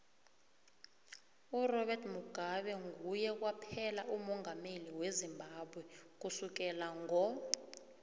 urobert mugabe nguye kwaphela umongameli wezimbabwe kusukela ngo